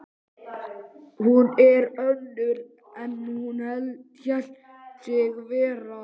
Hún er önnur en hún hélt sig vera.